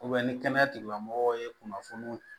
ni kɛnɛya tigilamɔgɔw ye kunnafoniw